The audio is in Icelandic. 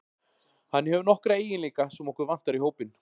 Hann hefur nokkra eiginleika sem okkur vantar í hópinn.